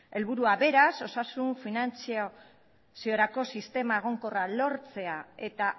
helburua beraz osasun finantziaziorako sistema egonkorra lortzea eta